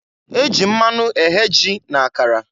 E ji mmanụ eghe ji na akara.